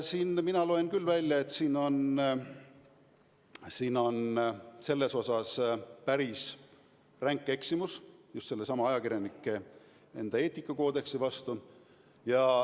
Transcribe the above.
Siit mina loen küll välja, et siin on selles osas päris ränk eksimus just sellesama ajakirjanduseetika koodeksi vastu.